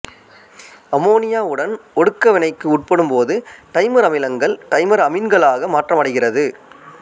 அம்மோனியாவுடன் ஒடுக்க வினைக்கு உட்படும் போது டைமர் அமிலங்கள் டைமர் அமீன்களாக மாற்றமடைகிறது